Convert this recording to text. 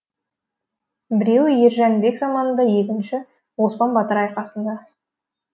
біреуі ер жәнібек заманында екінші оспан батыр айқасында